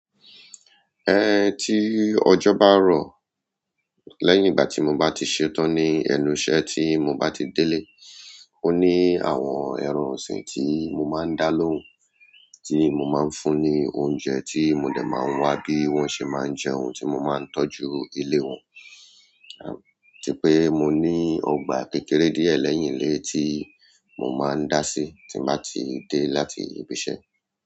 Ẹn tí ọjọ́ bá rọ̀, lẹ́yìn ìgbà tí mo bá ti ṣetán ní ẹnu iṣẹ́ tí mo bá ti délé, ó ní àwọn ẹran ọ̀sìn tí mo máa ń dá lóhùn, tí mo máa ń fún ní oúnjẹ tí mo dẹ̀ máa ń wa bí wọ́n ṣe máa ń jẹun, tí mo máa ń tọ́jú ilé wọn. Ti pé mo ní ọgbà kékeré díẹ̀ lẹ́yìn ilé tí mo máa ń dá sí tí mo bá ti dé láti ibi iṣẹ́.